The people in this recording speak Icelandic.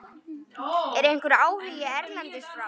Er einhver áhugi erlendis frá?